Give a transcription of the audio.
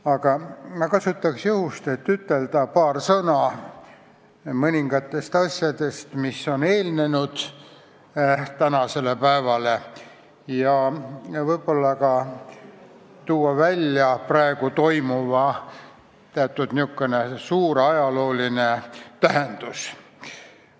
Aga ma kasutan juhust, et ütelda paar sõna mõningate asjade kohta, mis on eelnenud tänasele päevale, ja võib-olla ka tuua esile praegu toimuva suur ajalooline tähendus.